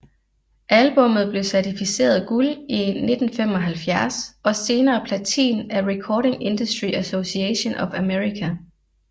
Albummet blev certificeret guld i 1975 og senere platin af Recording Industry Association of America